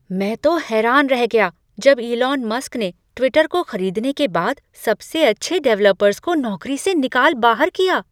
मैं तो हैरान रह गया जब इलॉन मस्क ने ट्विटर को खरीदने के बाद सबसे अच्छे डेवलपर्स को नौकरी से निकाल बाहर किया।